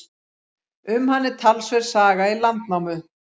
Um hann er talsverð saga í Landnámu.